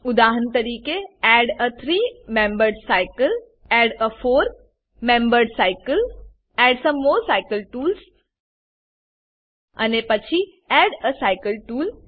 ઉદાહરણ તરીકે add a three membered cycle add a four membered cycle and some more cycle tools અને પછી add a cycle tool